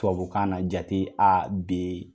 Tubabukan na jate A, D